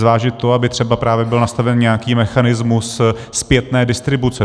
Zvážit to, aby třeba právě byl nastaven nějaký mechanismus zpětné distribuce.